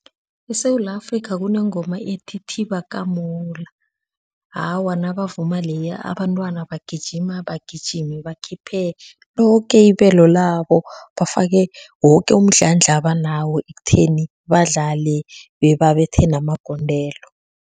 ESewula Afrika kunengoma ithi thiba kamola, awa nabavuma leya abantwana bagijima bagijime bakhiphe loke ibelo labo bafake woke umdlandla abanawo ekutheni badlale bebabethe namagondelo.